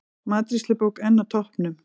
Matreiðslubók enn á toppnum